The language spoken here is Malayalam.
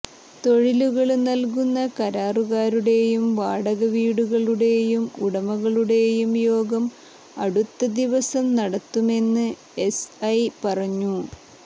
തൊഴിലുകള് നല്കുന്ന കരാറുകാരുടേയും വാടകവീടുകളുടെ ഉടമകളുടേയും യോഗം അടുത്ത ദിവസം നടത്തുമെന്ന് എസ്ഐ പറഞ്ഞു